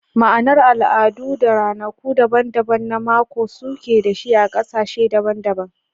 Ma'anar al'adu da ranaku daban-daban na mako suke da shi a kasashe daban-daban.